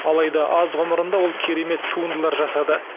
алайда аз ғұмырында ол керемет туындылар жасады